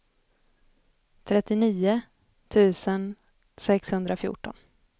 trettionio tusen sexhundrafjorton